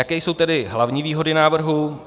Jaké jsou tedy hlavní výhody návrhu?